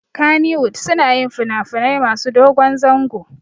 Kannywood suna yin finafinai masu dogon zango